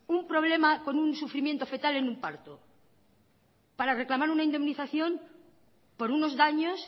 un problema con un sufrimiento fetal en un parto para reclamar una indemnización por unos daños